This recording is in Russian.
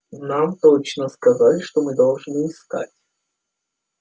нам точно сказали что мы должны искать